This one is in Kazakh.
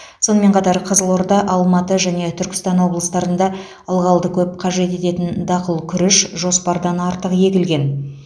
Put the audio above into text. сонымен қатар қызылорда алматы және түркістан облыстарында ылғалды көп қажет ететін дақыл күріш жоспардан артық егілген